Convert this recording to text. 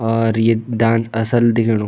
और ये डांस असल दिखेणु।